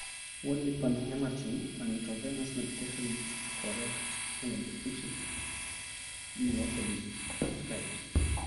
Ore Panhematin, an intravenous medication used to correct heme deficiency, may also be prescribed.